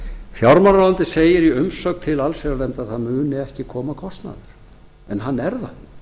segir í umsögn til allsherjarnefndar að það muni ekki koma kostnaður en hann